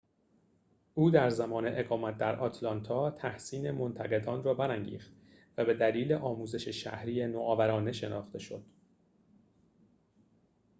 او در زمان اقامت در آتلانتا تحسین منتقدان را برانگیخت و به دلیل آموزش شهری نوآورانه شناخته شد